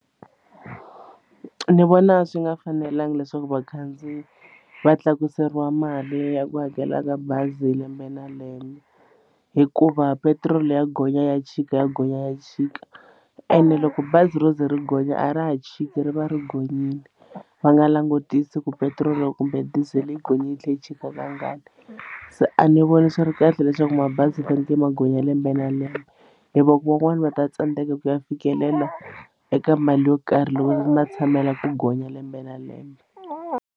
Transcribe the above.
Ni vona swi nga fanelanga leswaku vakhandziyi va tlakuseriwa mali ya ku hakela ka bazi lembe na lembe hikuva petiroli ya gonya ya chika ya gonya ya chika ene loko bazi ro ze ri gonya a ra ha chiki ri va ri gonyini va nga langutisi ku petiroli kumbe dizele yi gonyini yi tlhe yi chika ka ngani se a ni voni swi ri kahle leswaku mabazi ma fanekele ma gonya lembe na lembe hi van'wani va ta tsandeka ku ya fikelela eka mali yo karhi loko va ma tshamela ku gonya lembe na lembe.